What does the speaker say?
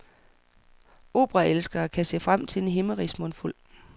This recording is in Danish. Operaelskere kan se frem til en himmerigsmundfuld.